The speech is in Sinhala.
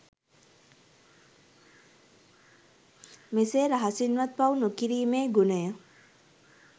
මෙසේ රහසින්වත් පව් නොකිරීමේ ගුණය